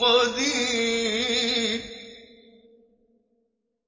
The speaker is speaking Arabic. قَدِيرٌ